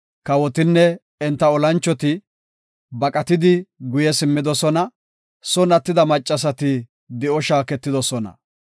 Kawotinne enta olanchoti baqatidi guye simmidosona; son attida maccasati di7o shaaketidosona.